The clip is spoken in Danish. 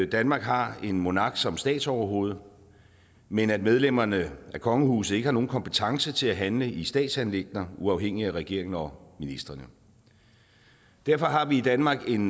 danmark har en monark som statsoverhoved men at medlemmerne af kongehuset ikke har nogen kompetence til at handle i statsanliggender uafhængigt af regeringen og ministrene derfor har vi i danmark en